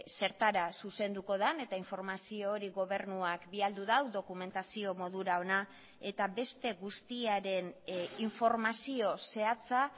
zertara zuzenduko den eta informazio hori gobernuak bidali du dokumentazio modura hona eta beste guztiaren informazio zehatza